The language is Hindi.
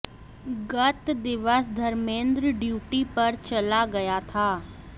गत दिवस धर्मेन्द्र ड्यूटी पर चला गया था